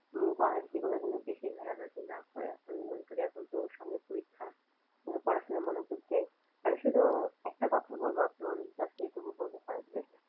mobile এগুলো যেন বেশি ঘাটাঘাঁটি না করে আমি মনে করি এখন তোর সামনে পরীক্ষা ও যেন পড়াশোনায় মনোযোগ দেয় আমি শুধু একটা কথাই বলবো আপনি ওরে just এটুকুই বলবেন